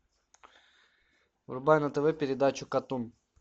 врубай на тв передачу катун